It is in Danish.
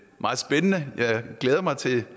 meget spændende og jeg glæder mig til